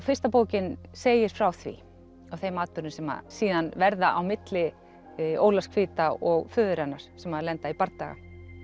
fyrsta bókin segir frá því af þeim atburðum sem síðan verða á milli Ólafs hvíta og föður hennar sem lenda í bardaga